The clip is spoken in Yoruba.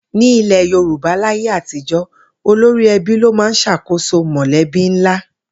Ní ilè̩ Yorùbá láyé àtijó̩, olórí e̩bí ló máa ń s̩àkóso mò̩lé̩bí ńlá